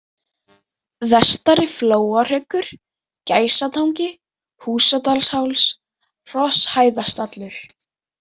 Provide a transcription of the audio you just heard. Vestari-Flóahryggur, Gæsatangi, Húsadalsháls, Hrosshæðastallur